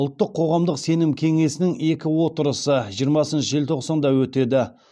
ұлттық қоғамдық сенім кеңесінің екі отырысы жиырмасыншы желтоқсанда өтеді